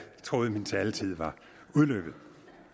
troede min taletid var udløbet